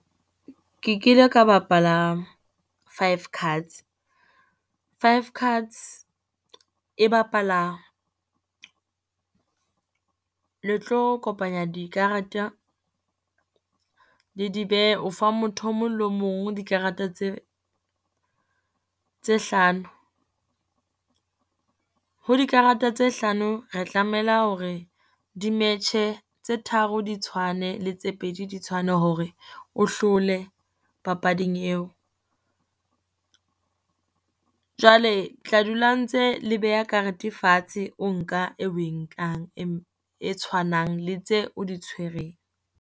Ke kile ka bapala five cards, five cards e bapala le tlo kopanya dikareta le di behe, o fa motho o mong le mong dikarata tse tse hlano, ho dikarata tse hlano re tlamela hore di metjhe tse tharo di tshwane le tse pedi di tshwane hore o hlole papading eo. Jwale tla dula ntse le beha karete fatshe, o nka e oe nkang e tshwanang le tse di tshwereng.